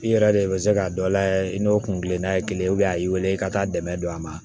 I yɛrɛ de bɛ se k'a dɔ layɛ i n'o kun kelenna ye kelen a y'i wele i ka taa dɛmɛ don a ma